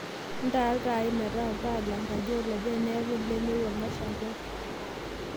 intaa iltaai metaa iltaa lenkaji olopeny neeku ilemua olmashungwai